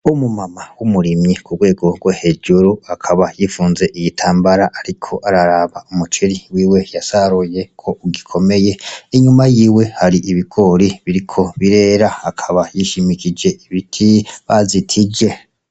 Umu mama w'umurimyi ku rwego rwo hejuru akaba yifunze igitambara, ariko araraba umuceri wiwe yasaruye ko ugikomeye, inyuma yiwe hari ibigori biriko birera, akaba yishimikije ibiti bazitije.